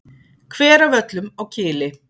Hveravöllum á Kili.